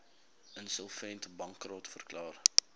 insolvent bankrot verklaar